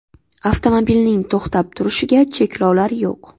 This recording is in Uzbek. Avtomobilning to‘xtab turishiga cheklovlar yo‘q.